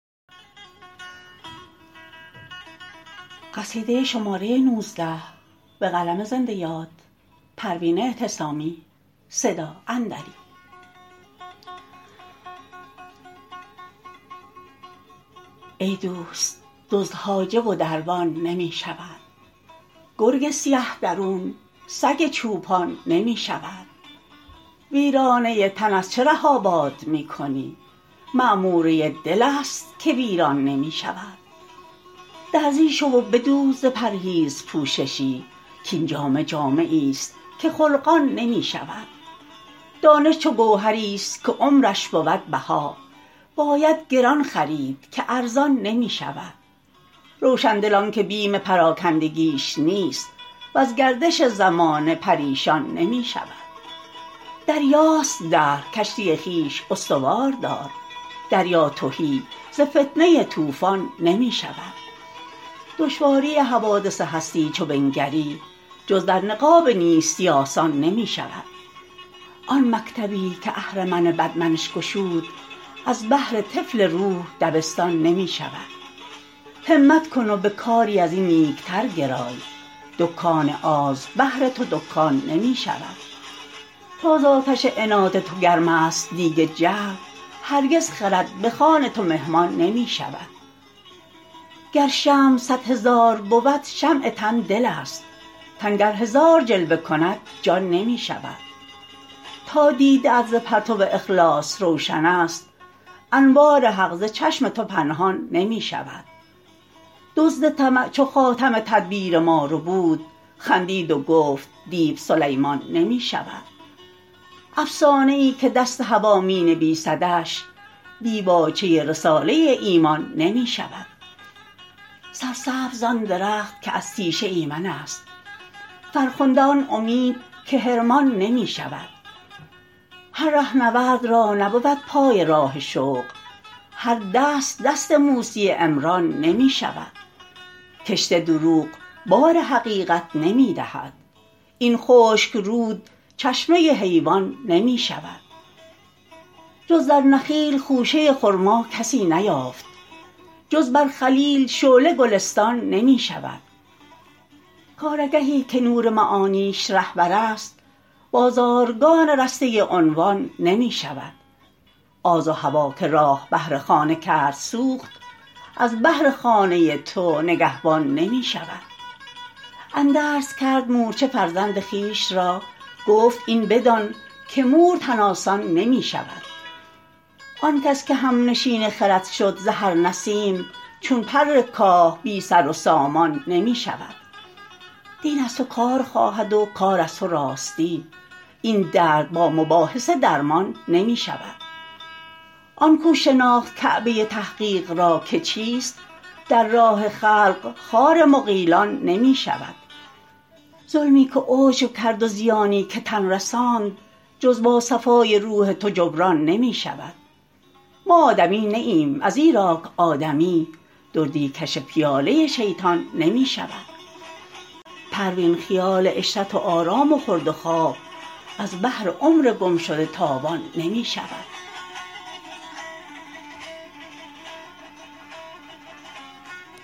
ای دوست دزد حاجب و دربان نمی شود گرگ سیه درون سگ چوپان نمی شود ویرانه تن از چه ره آباد میکنی معموره دلست که ویران نمی شود درزی شو و بدوز ز پرهیز پوششی کاین جامه جامه ایست که خلقان نمی شود دانش چو گوهریست که عمرش بود بها باید گران خرید که ارزان نمی شود روشندل آنکه بیم پراکندگیش نیست وز گردش زمانه پریشان نمی شود دریاست دهر کشتی خویش استوار دار دریا تهی ز فتنه طوفان نمی شود دشواری حوادث هستی چو بنگری جز در نقاب نیستی آسان نمی شود آن مکتبی که اهرمن بد منش گشود از بهر طفل روح دبستان نمی شود همت کن و به کاری ازین نیکتر گرای دکان آز بهر تو دکان نمی شود تا زاتش عناد تو گرمست دیگ جهل هرگز خرد بخوان تو مهمان نمی شود گر شمع صد هزار بود شمع تن دلست تن گر هزار جلوه کند جان نمی شود تا دیده ات ز پرتو اخلاص روشن است انوار حق ز چشم تو پنهان نمی شود دزد طمع چو خاتم تدبیر ما ربود خندید و گفت دیو سلیمان نمی شود افسانه ای که دست هوی مینویسدش دیباچه رساله ایمان نمی شود سرسبز آن درخت که از تیشه ایمن است فرخنده آن امید که حرمان نمی شود هر رهنورد را نبود پای راه شوق هر دست دست موسی عمران نمی شود کشت دروغ بار حقیقت نمیدهد این خشک رود چشمه حیوان نمی شود جز در نخیل خوشه خرما کسی نیافت جز بر خلیل شعله گلستان نمی شود کار آگهی که نور معانیش رهبرست بازارگان رسته عنوان نمی شود آز و هوی که راه بهر خانه کرد سوخت از بهر خانه تو نگهبان نمی شود اندرز کرد مورچه فرزند خویشرا گفت این بدان که مور تن آسان نمی شود آنکس که همنشین خرد شد ز هر نسیم چون پر کاه بی سر و سامان نمی شود دین از تو کار خواهد و کار از تو راستی این درد با مباحثه درمان نمی شود آن کو شناخت کعبه تحقیق را که چیست در راه خلق خار مغیلان نمی شود ظلمی که عجب کرد و زیانی که تن رساند جز با صفای روح تو جبران نمی شود ما آدمی نی ایم از ایراک آدمی دردی کش پیاله شیطان نمی شود پروین خیال عشرت و آرام و خورد و خواب از بهر عمر گمشده تاوان نمی شود